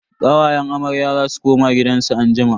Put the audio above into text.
Kawayen amarya za su koma gidansu zuwa anjima.